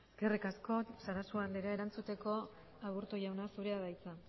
eskerrik asko sarasua andrea erantzuteko aburto jauna zurea da hitza